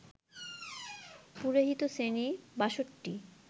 পুরোহিত-শ্রেণী ৬২